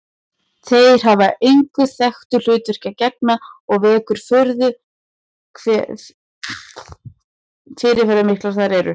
Þeir hafa engu þekktu hlutverki að gegna og vekur furðu hve fyrirferðarmiklir þeir eru.